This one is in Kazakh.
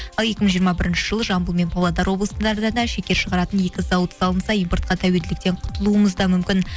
ал екі мың жиырма бірінші жылы жамбыл мен павлодар облыстарында да шекер шығаратын екі зауыт салынса импортқа тәуелділіктен құтылуымыз да мүмкін